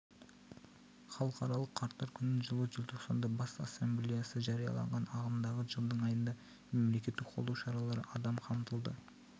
халықаралық қарттар күнін жылы желтоқсанда бас ассамблеясы жариялаған ағымдағы жылдың айында мемлекеттік қолдау шаралары адам қамтылды